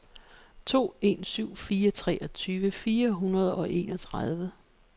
to en syv fire treogtyve fire hundrede og enogtredive